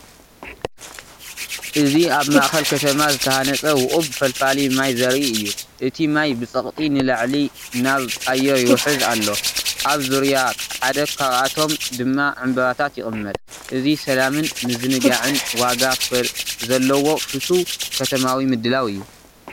እዚ ኣብ ማእኸል ከተማ ዝተሃነፀ ውቁብ ፈልፋሊ ማይ ዘርኢ እዩ። እቲ ማይ ብጸቕጢ ንላዕሊ ናብ ኣየር ይውሕዝ ኣሎ፣ ኣብ ዙርያ ሓደ ካብኣቶም ድማ ዕምባባታት ይቕመጥ። እዚ ሰላምን ምዝንጋዕን ዋጋ ዘለዎ ፍቱው ከተማዊ ምድላው እዩ።